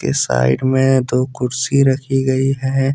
इस साइड मे दो कुर्सी रखी गई है।